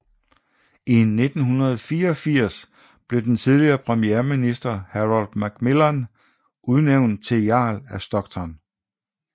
I 1984 blev den tidligere premierminister Harold Macmillan udnævnt til Jarl af Stockton